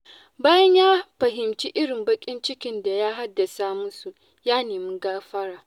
Bayan ya fahimci irin baƙin cikin da ya haddasa musu, ya nemi gafara.